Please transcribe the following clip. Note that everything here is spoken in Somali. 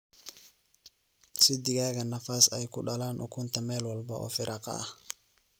Sii digaaga nafaas ay kudalan ukunta mel walbo oo firaqa ah.